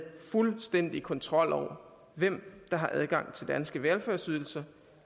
fuldstændig kontrol over hvem der har adgang til danske velfærdsydelser